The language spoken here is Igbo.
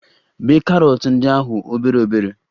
Bee karọt ndi ahụ obere obere